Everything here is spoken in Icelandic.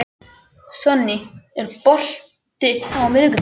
Sonný, er bolti á miðvikudaginn?